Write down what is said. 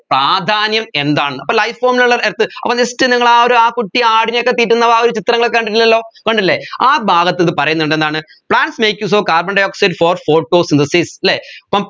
പ്രാധ്യാനം എന്താണ് അപ്പോ life form in all earth അപ്പോ just നിങ്ങൾ ആ ഒരു ആ കുട്ടി ആടിനെയൊക്കെ തീറ്റുന്ന ആ രു ചിത്രങ്ങൾ ഒക്കെ കണ്ടിട്ടുണ്ടല്ലോ കണ്ടില്ലേ ആ ഭാഗത്ത് ഇത് പറയുന്നുണ്ട് എന്താണ് plants make use of carbondioxide for photosynthesis ല്ലേ അപ്പം